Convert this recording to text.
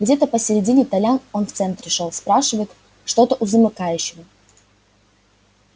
где-то посередине толян он в центре шёл спрашивает что-то у замыкающего